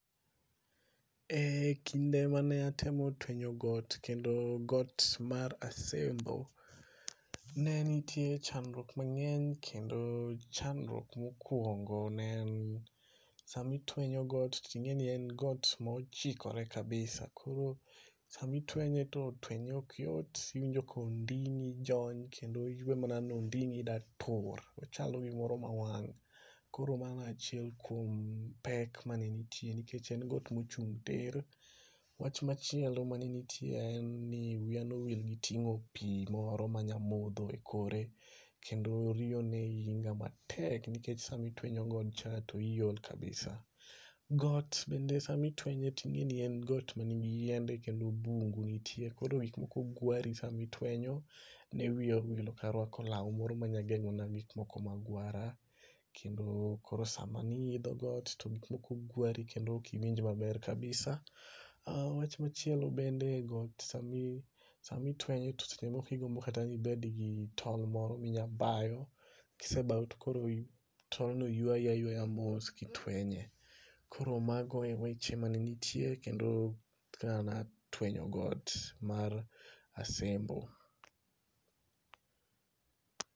E kinde mane atemo twenyo got kendo got mar Asembo, ne nitie chnadruok mang'eny kendo chandruok mokwongo ne en, sami twenyo got ting'e ni en got mochikore kabisa koro sami twenye to twenye ok yot, iwinjo konding'i jony kendo iwe mana ni onding'i da tur. Ochalo gimoro ma wang' . Koro mano e achiel kuom pek mane nitie, nikech en got mochung' tir. Wach machielo mane nitie en ni wiya nowil giting'o pi moro manya modho e kore, kendo riyo ne hinya matek nikech sama itwenyo godcha, to iol kabisa. Got bende sami twenye ting'eni en got manigi yiende kendo bungu nitie. Koro gikmoko gwari sami twenyo. Ne wiya owil ok arwako law moro manya geng'ona gikmoko ma gwara. Kendo koro sama niidho, to gikmoko gwari kendo ok iwinj maber kabisa. Wach machielo bende got, samitwenyo to seche moko igombo kata nibed gi tol moro minya bayo ,kisebayo to koro tolno ywayi aywaya mos kitwenye. Koro mago e weche mane nitiere kendo kaka natwenyo got mar Asembo.